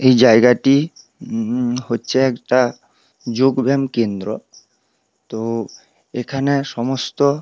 এই জায়াগটী হচ্ছে